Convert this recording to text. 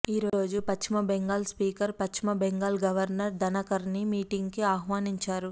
ఈ రోజు Paschim Bengal speaker Paschim Bengal governor Dhankhar ని మీటింగ్కు ఆహ్వానించారు